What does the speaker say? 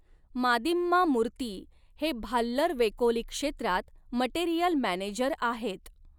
मादिम्मा मूर्ती हे भाल्लर वेकोलि क्षेत्रात मटेरिअल मॅनेजर आहेत.